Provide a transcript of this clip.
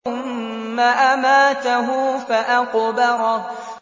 ثُمَّ أَمَاتَهُ فَأَقْبَرَهُ